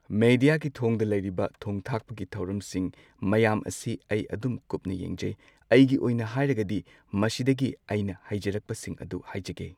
ꯃꯦꯗꯤꯌꯥꯒꯤ ꯊꯣꯡꯗ ꯂꯩꯔꯤꯕ ꯊꯣꯡ ꯊꯥꯛꯄꯒꯤ ꯊꯧꯔꯝꯁꯤꯡ ꯃꯌꯥꯝ ꯑꯁꯤ ꯑꯩ ꯑꯗꯨꯝ ꯀꯨꯞꯅ ꯌꯦꯡꯖꯩ꯫ ꯑꯩꯒꯤ ꯑꯣꯏꯅ ꯍꯥꯏꯔꯒꯗꯤ ꯃꯁꯤꯗꯒꯤ ꯑꯩꯅ ꯍꯩꯖꯔꯛꯄꯁꯤꯡ ꯑꯗꯨ ꯍꯥꯏꯖꯒꯦ꯫